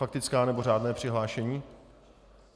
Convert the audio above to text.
Faktická, nebo řádné přihlášení?